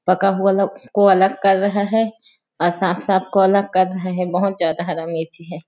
पका हुआ अलग को अलग कर रहे हैं और साफ-साफ को अलग कर रहे हैं बहुत ज्यादा हरा मिर्ची हैं।